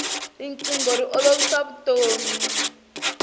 rinqingho ri olovisa vutomi